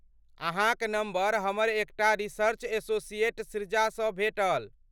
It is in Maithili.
अहाँक नम्बर हमर एकटा रिसर्च एसोसिएट सृजासँ भेटल।